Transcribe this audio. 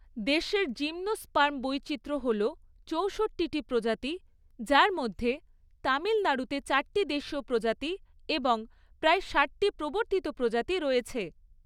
দেশের জিমনোস্পার্ম বৈচিত্র্য হল চৌষট্টিটি প্রজাতি, যার মধ্যে তামিলনাড়ুতে চারটি দেশীয় প্রজাতি এবং প্রায় ষাটটি প্রবর্তিত প্রজাতি রয়েছে।